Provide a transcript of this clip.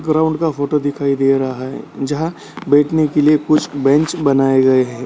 Ground का photo दिखाई दे रहा है जहाँ बैठने के लिए कुछ बेंच बनाए गए है।